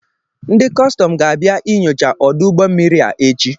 Ndị kọstọm ga-abịa inyocha ọdụ ụgbọ mmiri a echi